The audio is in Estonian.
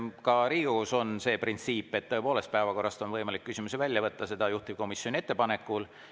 Ka Riigikogus on see printsiip, et tõepoolest on päevakorrast võimalik küsimusi välja võtta, seda saab teha juhtivkomisjoni ettepanekul.